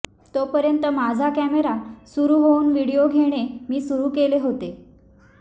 तोपर्यंत माझा कॅमेरा सुरु होऊन विडिओ घेणे मी सुरु केले होते